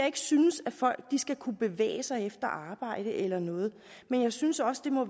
ikke synes at folk skal kunne bevæge sig efter arbejde eller noget men jeg synes også det må